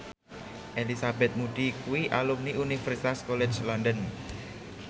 Elizabeth Moody kuwi alumni Universitas College London